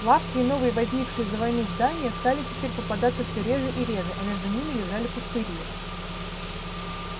лавки и новые возникшие за войну здания стали теперь попадаться всё реже и реже а между ними лежали пустыри